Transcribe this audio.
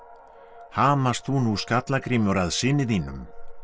hamast þú Skallagrímur að syni þínum